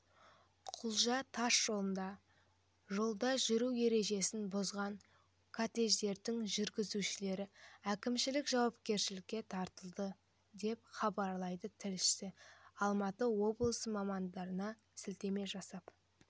құлжа тасжолында жолда жүру ережесін бұзған кортежінің жүргізушілері әкімшілік жауапкершілікке тартылды деп хабарлайды тілшісі алматы облысы мамандарына сілтеме жасап